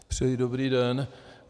Přeji dobrý den.